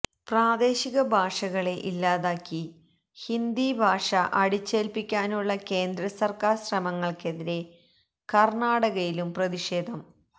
പ്രാദേശിക ഭാഷകളെ ഇല്ലാതാക്കി ഹിന്ദി ഭാഷ അടിച്ചേല്പ്പിക്കാനുള്ള കേന്ദ്ര സര്ക്കാര് ശ്രമങ്ങള്ക്കെതിരെ കര്ണാടകയിലും പ്രതിഷേധം